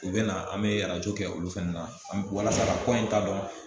U bɛ na an bɛ arajo kɛ olu fana na walasa ka ko in ta dɔn